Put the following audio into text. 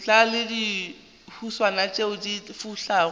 le dihuswane tšeo di fulago